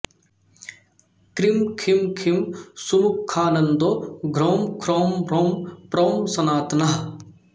cream खीं खीं सुमुखानन्दो घ्रौं ख्रौं म्रौं प्रौं सनातनः